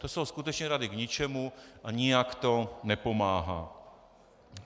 To jsou skutečně rady k ničemu a nijak to nepomáhá.